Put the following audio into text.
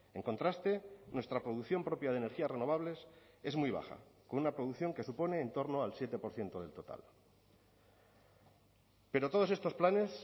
en contraste nuestra producción propia de energías renovables es muy baja con una producción que supone en torno al siete por ciento del total pero todos estos planes